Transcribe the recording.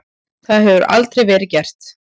Það hefur aldrei verið gert.